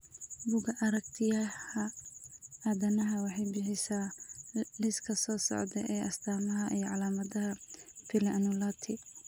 Bugga Aragtiyaha Aadanaha waxay bixisaa liiska soo socda ee astamaha iyo calaamadaha Pili annulati.